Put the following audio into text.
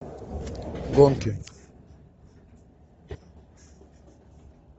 гонки